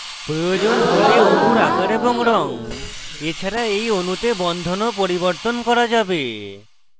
প্রয়োজন হলে অণুর আকার এবং রঙ এছাড়া এই অণুতে বন্ধনও পরিবর্তন করা যাবে